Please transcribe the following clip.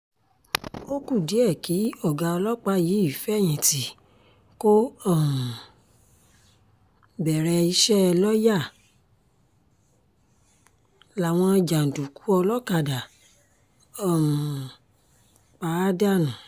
ó kù díẹ̀ kí ọ̀gá ọlọ́pàá yìí fẹ̀yìntì kó um bẹ̀rẹ̀ iṣẹ́ lọ́ọ̀yà làwọn jàǹdùkú olókàdá um pa á dànù